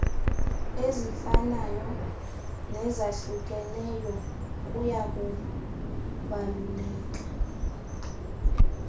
ezifanayo nezahlukeneyo kuyakubaluleka